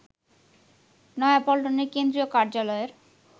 নয়াপল্টনের কেন্দ্রীয় কার্যালয়ের